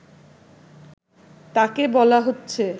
তাকে বলা হচ্ছে